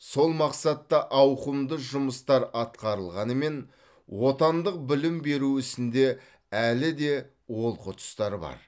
сол мақсатта ауқымды жұмыстар атқарылғанымен отандық білім беру ісінде әлі де олқы тұстар бар